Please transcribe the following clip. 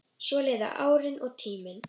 Svo liðu árin og tíminn.